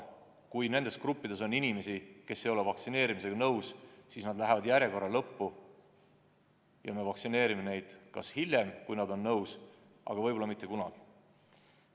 Kui nendes gruppides on inimesi, kes ei ole vaktsineerimisega nõus, siis nad lähevad järjekorra lõppu ja me vaktsineerimine neid kas hiljem, kui nad on nõus, või siis mitte kunagi.